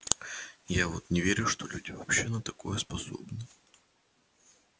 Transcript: я вот не верю что люди вообще на такое способны